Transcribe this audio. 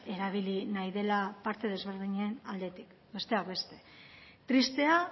erabili nahi dela parte ezberdinen aldetik besteak beste tristea